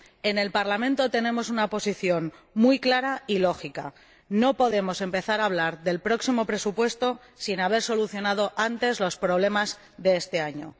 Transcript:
En el Parlamento tenemos una posición muy clara y lógica no podemos empezar a hablar del próximo presupuesto sin haber solucionado antes los problemas de este año.